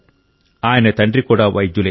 ఆయన తండ్రి కూడా వైద్యులే